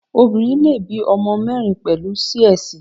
Obinrin le bí ọmọ mẹ́rin pẹ̀lú Sí-Ẹsì.